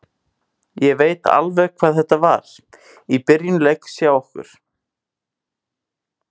Ég veit alveg hvað þetta var í byrjun leiks hjá okkur.